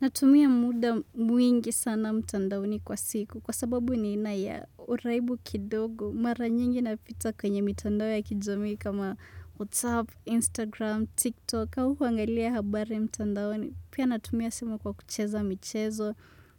Natumia muda mwingi sana mtandaoni kwa siku kwa sababu ni aina ya uraibu kidogo mara nyingi napita kwenye mitandao ya kijamii kama WhatsApp, Instagram, TikTok au kuangalia habari mtandaoni. Pia natumia simu kwa kucheza michezo,